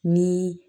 Ni